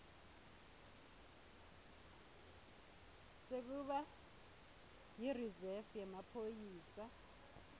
sekuba yirizefu yemaphoyisa